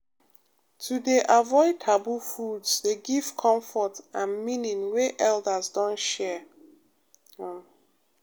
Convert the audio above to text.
to dey avoid taboo foods dey give comfort and meaning wey elders don share pause um